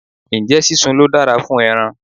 Ǹjẹ́ sísun ló dára jù fún ẹran?